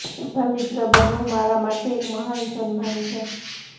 તમારા મિત્ર બનવું મારા માટે એક મહાન સન્માન છે